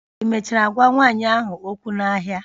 Ị mechara gwa nwanyị ahụ okwu n'ahịa?